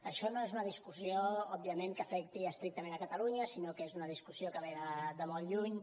això no es una discussió òbviament que afecti estrictament catalunya sinó que és una discussió que ve de molt lluny